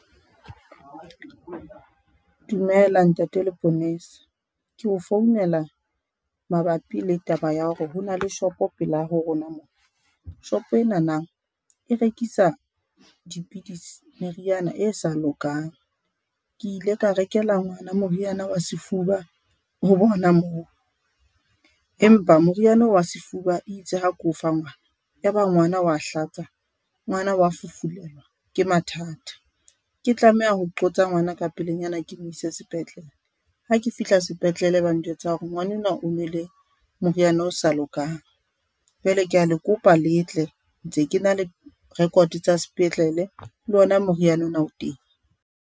Dumela ntate leponesa ke o founela mabapi le taba ya hore hona le shopo pela ho rona mo, shopo ena nang e rekisa dipidisi, meriana e sa lokang. Ke ile ka rekela ngwana moriana wa sefuba ho bona moo, empa moriana o wa sefuba itse ha ke o fa ngwana ya ba ngwana wa hlatsa, ngwana wa fufulelwa ke mathata. Ke tlameha ho qotsa ngwana ka pelenyana ke mo isa sepetlele ha ke fihla sepetlele, ba njwetsa hore ngwanenwa o nwele moriana o sa lokang. Jwale ke a le kopa letle ntse ke na le record tsa sepetlele le ona moriana o na o teng.